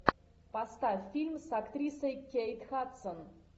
поставь фильм с актрисой кейт хадсон